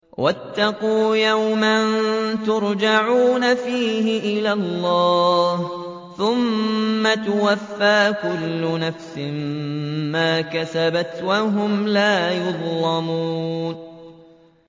وَاتَّقُوا يَوْمًا تُرْجَعُونَ فِيهِ إِلَى اللَّهِ ۖ ثُمَّ تُوَفَّىٰ كُلُّ نَفْسٍ مَّا كَسَبَتْ وَهُمْ لَا يُظْلَمُونَ